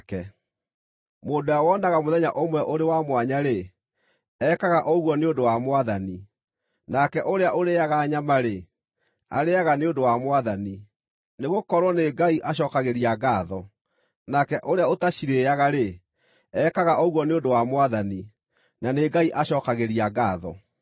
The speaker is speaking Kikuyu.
Mũndũ ũrĩa wonaga mũthenya ũmwe ũrĩ wa mwanya-rĩ, ekaga ũguo nĩ ũndũ wa Mwathani. Nake ũrĩa ũrĩĩaga nyama-rĩ, arĩĩaga nĩ ũndũ wa Mwathani, nĩgũkorwo nĩ Ngai acookagĩria ngaatho; nake ũrĩa ũtacirĩĩaga-rĩ, ekaga ũguo nĩ ũndũ wa Mwathani, na nĩ Ngai acookagĩria ngaatho.